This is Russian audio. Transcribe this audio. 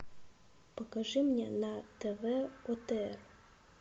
покажи мне на тв отр